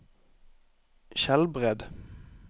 Skjelbred